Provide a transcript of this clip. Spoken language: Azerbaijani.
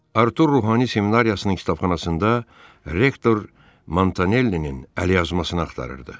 Artur ruhani seminariyasının kitabxanasında rektor Montanellinin əlyazmasını axtarırdı.